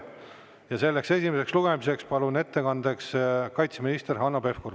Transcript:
Ja selleks esimeseks lugemiseks palun ettekannet tegema kaitseminister Hanno Pevkuri.